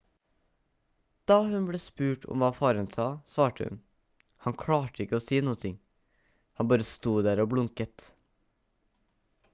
da hun ble spurt om hva faren sa svarte hun: «han klarte ikke å si noen ting han bare sto der og blunket»